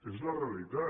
és la realitat